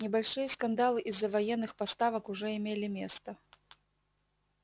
небольшие скандалы из-за военных поставок уже имели место